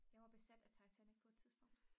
jeg var besat af titanic på et tidspunkt